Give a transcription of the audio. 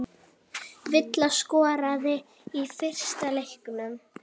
Villa skoraði í fyrsta leiknum